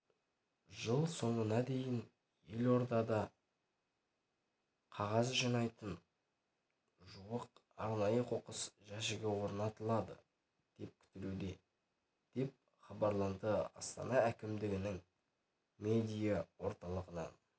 жыл соңына дейін елордада қағаз жинайтын жуық арнайы қоқыс жәшігі орнатылады деп күтілуде деп хабарланды астана әкімдігінің медиа орталығынан